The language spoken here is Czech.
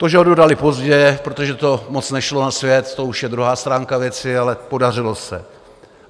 To, že ho dodali pozdě, protože to moc nešlo na svět, to už je druhá stránka věci, ale podařilo se.